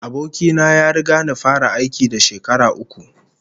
Aboki na ya riga ni fara aiki da shekara uku